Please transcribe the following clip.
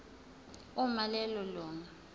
uma lelo lunga